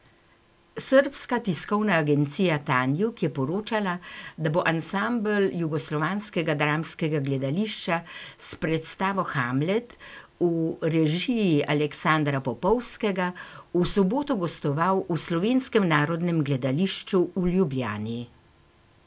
Srbska tiskovna agencija Tanjug je poročala, da bo ansambel Jugoslovanskega dramskega gledališča s predstavo Hamlet v režiji Aleksandra Popovskega v soboto gostoval v Slovenskem narodnem gledališču v Ljubljani.